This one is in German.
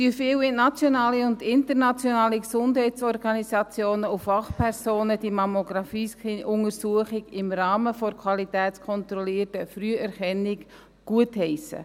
Viele nationale und internationale Gesundheitsorganisationen und Fachpersonen heissen diese Mammographie-Screening-Untersuchung im Rahmen der qualitätskontrollierten Früherkennung gut.